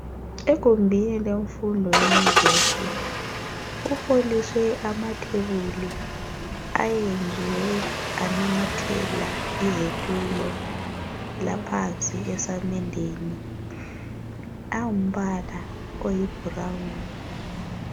Egumbini lemfundo eNyuvesi kuholiswe amathebuli ayenziwe anamathela izitulo laphansi esamendeni angumbala oyi brown.